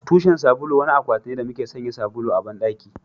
Tushen sabulu wani akwati ne da muke sanya sabulu a bandaki